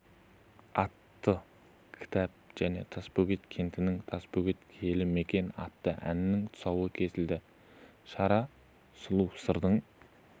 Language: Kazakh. атты кітап және тасбөгет кентінің тасбөгет киелі мекен атты әннің тұсауы кесілді шара сұлу сырдың